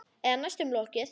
Eða næstum lokið.